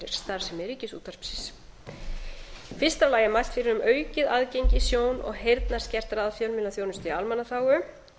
starfsemi ríkisútvarpsins í fyrsta lagi er mælt fyrir um aukið aðgengi sjón og heyrnarskertra að fjölmiðlaþjónustu í almannaþágu til að mynda er